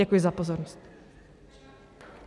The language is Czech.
Děkuji za pozornost.